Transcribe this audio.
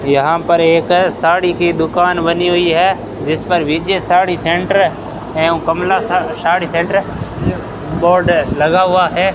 यहां पर एक साड़ी की दुकान बनी हुई है जिस पर विजय साड़ी सेंटर एवं कमला सा साड़ी सेंटर बोर्ड लगा हुआ है।